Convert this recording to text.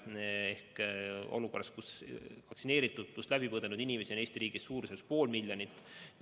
Praegu oleme olukorras, kus vaktsineeritud või haiguse läbi põdenud inimesi on Eesti riigis pool miljonit.